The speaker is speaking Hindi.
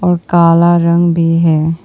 और काला रंग भी है।